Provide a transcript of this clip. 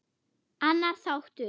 Annar þáttur.